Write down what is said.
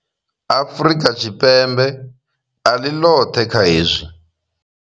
Afrika Tshipembe a ḽi ḽoṱhe kha hezwi.